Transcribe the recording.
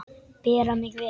Bera mig vel?